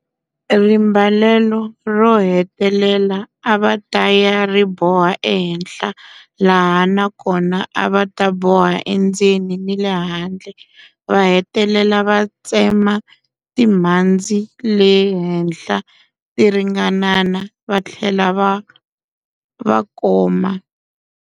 Rimbalelo ro hetelela a va ta ya ri boha ehenhla laha na kona a va ta boha endzeni ni le handle, va hetelela va tsema timhandzi le henhla ti ringanana va tlhela va koma.